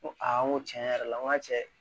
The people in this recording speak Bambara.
N ko n ko tiɲɛ yɛrɛ la n ko cɛ